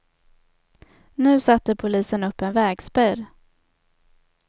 Nu satte polisen upp en vägspärr.